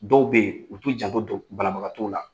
Dɔw be ye, u t'u janto to banabagatɔw la.